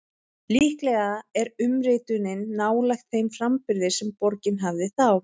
Líklega er umritunin nálægt þeim framburði sem borgin hafði þá.